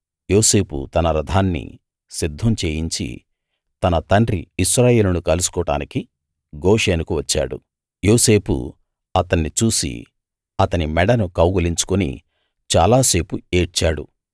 యోసేపు తన రథాన్ని సిద్ధం చేయించి తన తండ్రి ఇశ్రాయేలును కలుసుకోడానికి గోషెనుకు వచ్చాడు యోసేపు అతన్ని చూసి అతని మెడను కౌగలించుకుని చాలా సేపు ఏడ్చాడు